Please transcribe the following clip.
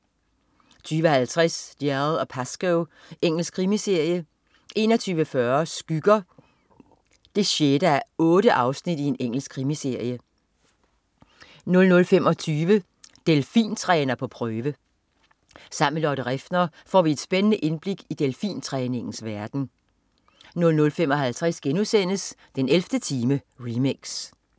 20.50 Dalziel & Pascoe. Engelsk krimiserie 21.40 Skygger 6:8. Engelsk krimiserie 00.25 Delfintræner på prøve. Sammen med Lotte Refner får vi et spændende indblik i delfintræningens verden 00.55 den 11. time, remix*